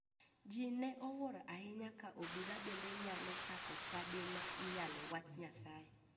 Ji ne owuoro ahinya ka obila bende nyalo chako chadi ma iyale wach nyasaye.